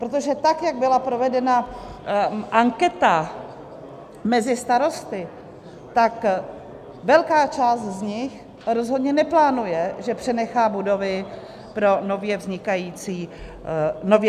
Protože tak, jak byla provedena anketa mezi starosty, tak velká část z nich rozhodně neplánuje, že přenechá budovy pro nově vznikající úřady.